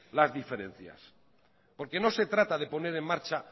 las diferencias porque no se trata de poner en marcha